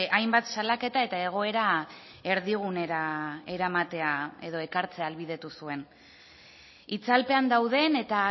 hainbat salaketa eta egoera erdigunera eramatea edo ekartzea ahalbidetu zuen itzalpean dauden eta